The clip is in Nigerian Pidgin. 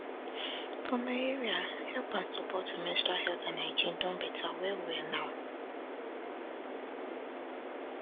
for my area help and support for menstrual health and hygiene don better well well now